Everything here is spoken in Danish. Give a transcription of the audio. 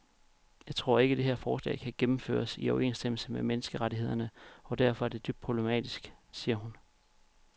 Jeg tror ikke, det her forslag kan gennemføres i overensstemmelse med menneskerettighederne og derfor er det dybt problematisk, siger hun.